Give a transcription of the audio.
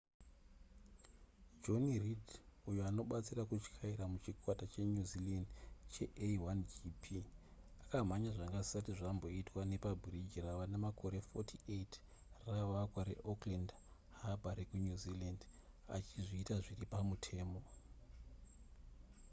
jonny reid uyo anobatsira kutyaira muchikwata chenew zealand chea1gp akamhanya zvanga zvisati zvamboitwa nepabhiriji rava nemakore 48 ravakwa reauckland harbour rekunew zealand achizviita zviri pamutemo